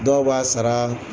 Dɔw b'a sara